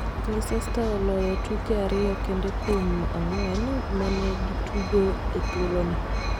Leicester oloyo tuke ariyo kende kuom ang'uen mane gitugo e thuoloni.